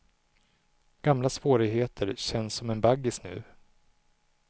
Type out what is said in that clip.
Gamla svårigheter känns som en baggis nu.